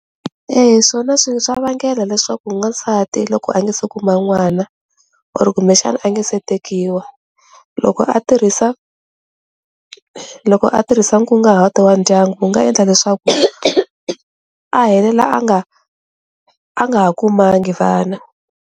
Eya, swona swa vangelo leswaku n'wansati loko a nga se kuma n'wana or kumbexana a nge se tekiwi loko a tirhisa loko a tirhisa nkunguhato wa ndyangu wu nga endla leswaku a helela a nga a nga ha kumanga vana.